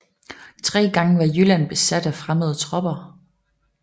Tre gange var Jylland besat af fremmede tropper